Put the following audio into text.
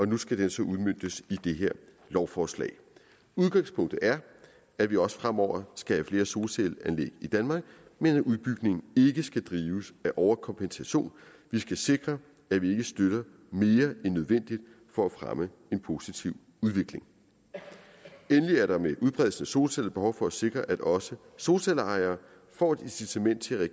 nu skal den så udmøntes i det her lovforslag udgangspunktet er at vi også fremover skal have flere solcelleanlæg i danmark men at udbygningen ikke skal drives af overkompensation vi skal sikre at vi ikke støtter mere end nødvendigt for at fremme en positiv udvikling endelig er der med udbredelsen af solceller behov for at sikre at også solcelleejere får et incitament til at